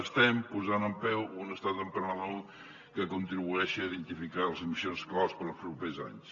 estem posant en peu un estat emprenedor que contribueixi a identificar les missions claus per als propers anys